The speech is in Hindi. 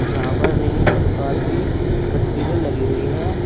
जहां पर प्रकार की तस्वीरें लगी हुई है।